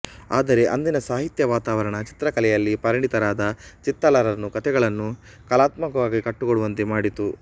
ಆದರೆ ಅಂದಿನ ಸಾಹಿತ್ಯ ವಾತಾವರಣ ಚಿತ್ರಕಲೆಯಲ್ಲಿ ಪರಿಣಿತರಾದ ಚಿತ್ತಾಲರನ್ನು ಕತೆಗಳನ್ನು ಕಲಾತ್ಮಕವಾಗಿ ಕಟ್ಟಿಕೊಡುವಂತೆ ಮಾಡಿತು